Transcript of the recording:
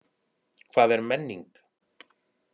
Hvað er menning?